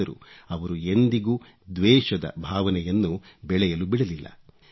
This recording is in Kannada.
ಆದರೂ ಅವರು ಎಂದಿಗೂ ದ್ವೇಷದ ಭಾವನೆಯನ್ನು ಬೆಳೆಯಲು ಬಿಡಲಿಲ್ಲ